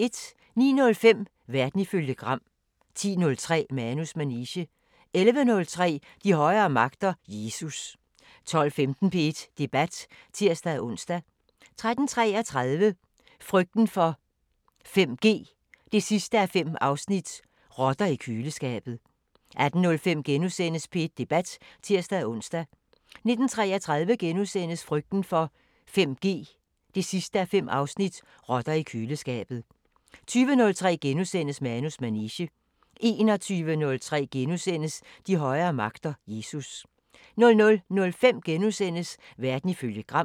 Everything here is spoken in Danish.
09:05: Verden ifølge Gram 10:03: Manus manege 11:03: De højere magter: Jesus 12:15: P1 Debat (tir-ons) 13:33: Frygten for 5G 5:5 – Rotter i køleskabet 18:05: P1 Debat *(tir-ons) 19:33: Frygten for 5G 5:5 – Rotter i køleskabet * 20:03: Manus manege * 21:03: De højere magter: Jesus * 00:05: Verden ifølge Gram *